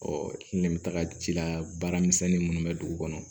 ne bɛ taga ji la baaramisɛnni minnu bɛ dugu kɔnɔ